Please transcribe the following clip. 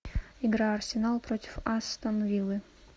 игра арсенал против астон виллы